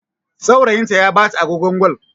Saurayinta ya bata agogon Gwal.